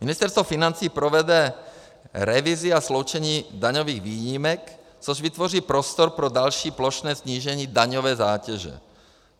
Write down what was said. Ministerstvo financí provede revizi a sloučení daňových výjimek, což vytvoří prostor pro další plošné snížení daňové zátěže.